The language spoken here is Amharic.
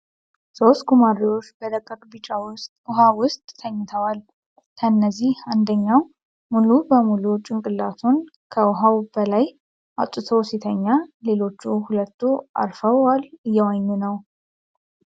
ሶስት ጉማሬዎች በደቃቅ ቢጫ ውሃ ውስጥ ተኝተዎል። ከእነዚህ አንደኛው ሙሉ በሙሉ ጭንቅላቱን ከውሃው በላይ አውጥቶ ሲተኛ ሌሎች ሁለቱ አርፈዋል እየዋኙ ነው።